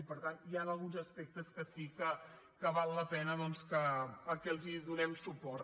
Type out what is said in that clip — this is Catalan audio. i per tant hi han alguns aspectes que sí que val la pena que els donem suport